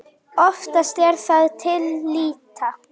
Oftast er það til lýta.